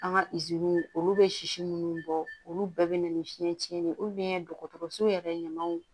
An ka olu bɛ sisi minnu bɔ olu bɛɛ bɛ na ni fiɲɛcin de ye dɔgɔtɔrɔso yɛrɛ ɲamaw